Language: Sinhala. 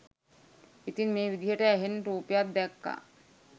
ඉතින් මේ විදිහට ඇහෙන් රූපයක් දැක්ක